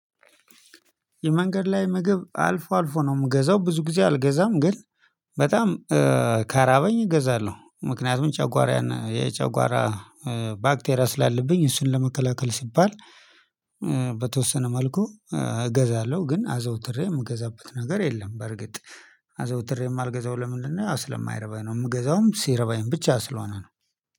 የመንገድ ላይ ምግብ አልፎ አልፎ ነው የምገዛው ብዙ ጊዜ አልገዛም። ግን በጣም ከራበኝ እገዛለሁ ምክንያቱም ጨጓራዬ የጨጓራ ባክቴሪያ ስላለብኝ እሱን ለመከላከል ሲባል በተወሰነ መልኩ እገዛለሁ። ግን አዘውትሬ የምገዛበት ነገር የለም። በርግጥ አዘውትሬም ማልገዛው ለምንድነው ስለማይረባኝ ነው። የምገዛውም ሲርበኝ ብቻ ስለሆነ ነው